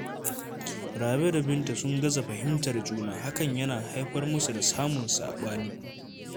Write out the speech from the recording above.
Rabe da Binta sun gaza fahimtar juna, hakan yana haifar musu da samun saɓani